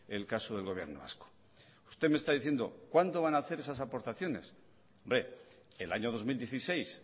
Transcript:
el caso del gobierno vasco usted me está diciendo cuándo van hacer esa aportaciones hombre el año dos mil dieciséis